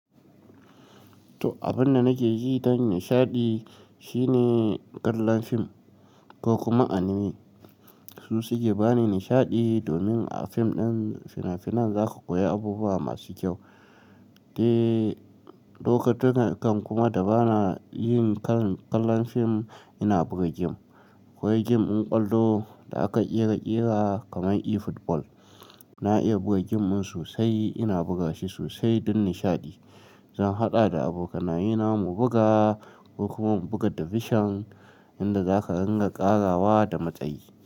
To, abin da nake ji dan nishaɗi shine kallon film ko kuma anime. Su suke ba ni nishaɗi domin a film ɗin fina-finan za ka koyi abubuwa masu kyau. Eh, lokutan kan kuma da ba na yin kallon film, ina buga game. Koyi game in ƙwallo da aka ƙera ƙera kamar e-football. Na iya buga game' dan sosai, ina buga shi sosai don nishaɗi. Zan haɗa da abokanaye na mu buga ko kuma mu buga division inda za ka ringa ƙarawa da matsayi.